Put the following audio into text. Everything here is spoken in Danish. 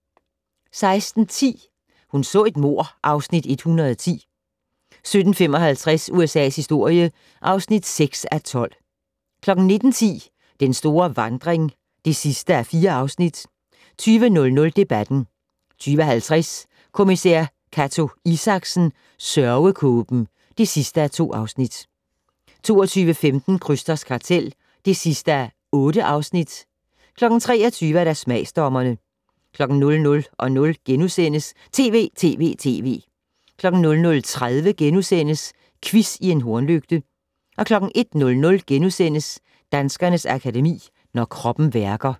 16:10: Hun så et mord (Afs. 110) 17:55: USA's historie (6:12) 19:10: Den store vandring (4:4) 20:00: Debatten 20:50: Kommissær Cato Isaksen: Sørgekåben (2:2) 22:15: Krysters kartel (8:8) 23:00: Smagsdommerne 00:00: TV!TV!TV! * 00:30: Quiz i en hornlygte * 01:00: Danskernes Akademi: Når kroppen værker *